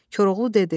Koroğlu dedi.